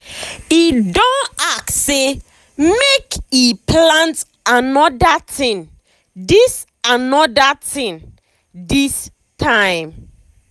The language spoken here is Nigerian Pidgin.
he don ask say make he plant another thing this another thing this time.